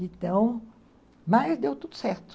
Então, mas deu tudo certo.